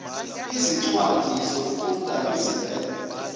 izincwadi zokufunda ezivela